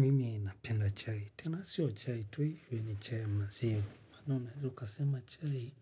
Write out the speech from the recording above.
Mimi ninapenda chai. Tena siyo chai tui, hiyo ni chai maziwa. Mana unaeza kasema chai,